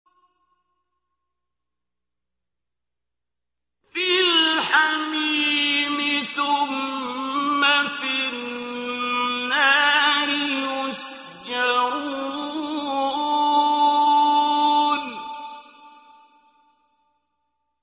فِي الْحَمِيمِ ثُمَّ فِي النَّارِ يُسْجَرُونَ